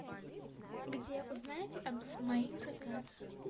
где узнать о моих заказах